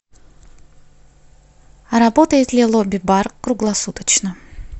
работает ли лобби бар круглосуточно